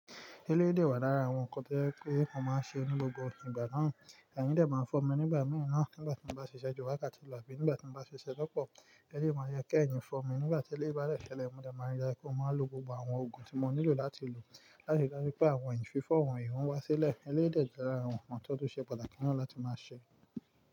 Elé dẹ̀ wà lára àwọn ǹkan tí ẹ pé mo máa ṣe onílò gbogbo ìgbà náà, ẹ̀yìn dẹ̀ máa fọ nígbà mìíràn nígbà tí mo bá ṣíṣe ju wákàtí lọ àbí nígbà tí mo bá ṣíṣe lọ́pọ̀. Elé máa yẹ kí ẹ̀yìn fọ mi nígbà tí elé bá dẹ̀ ṣẹlẹ̀, mo dá máa rí i dájú pé mo máa lo gbogbo àwọn oògùn tí mo nílò láti lò láti dá sí pé àwọn ẹ̀yìn fífọ́ wọn yóò wá sílẹ̀. Elé dẹ̀ jẹ́ lára àwọn ǹkan tó ṣe pàtàkì náà láti máa ṣe.